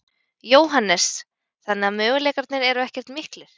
Jóhannes: Þannig að möguleikarnir eru ekkert miklir?